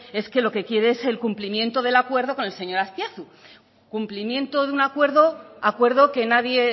es que lo que quiere es el cumplimiento del acuerdo con el señor azpiazu cumplimiento de un acuerdo acuerdo que nadie